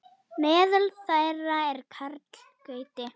Meðal þeirra er Karl Gauti.